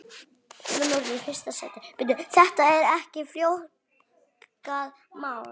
Þetta er ekki flókið mál.